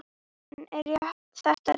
En er þetta rétt?